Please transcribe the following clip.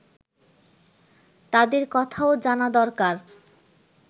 তাদের কথাও জানা দরকার